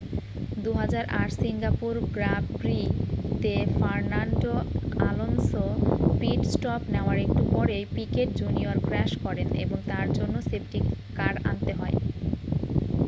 2008 Singapore Grand প্রি-তে Fernando Alonso pit stop নেওয়ার একটু পরেই পিকেট জুনিয়র ক্র্যাশ করেন এবং তার জন্য সেফটি কার আনতে হয়